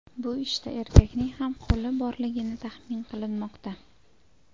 Bu ishda erkakning ham qo‘li borligini taxmin qilinmoqda.